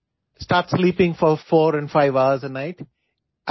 ৰাতি চাৰিপাঁচ ঘণ্টা শোৱাৰ অভ্যাস নাৰাখিব